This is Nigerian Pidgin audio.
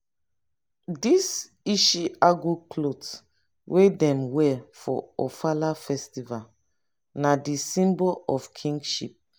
di ishi agu clot wey dem wear for ofala festval na di symbol of kingship.